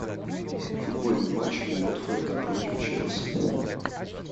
футбольный матч уотфорда против челси